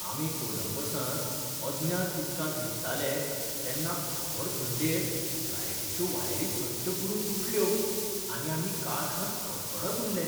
आमी कोलंबसांत अज्ञात उदकांत रिगताले तेन्ना खर थंडेंत लायटीच्यो वायरी सट्ट करून तुटल्यो आनी आमी काळखांत कडकडत उरले.